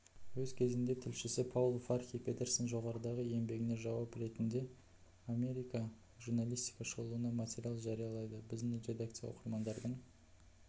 өз кезінде тілшісі паул фархи петерстің жоғарыдағы еңбегіне жауап ретінде америка журналистика шолуына материал жариялады біздің редакция оқырмандарының